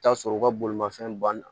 Taa sɔrɔ u ka bolimafɛn banna